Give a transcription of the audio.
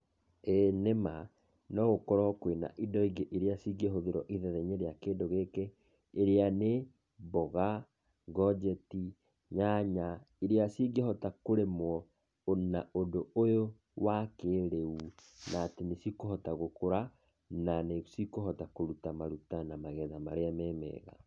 Ĩĩ nĩma nogũkorwo kwĩna indo ingĩ iria cingĩhũthĩrwo ithenya-inĩ rĩa kĩndũ gĩkĩ, iria nĩ mboga, ngonjeti, nyanya iria cingĩhota kũrĩmwo na ũndũ ũyũ wa kĩĩrĩu na nĩ cikũhota gũkũra, na nĩ cikũhota kũruta maruta na magetha marĩa memega.